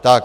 Tak.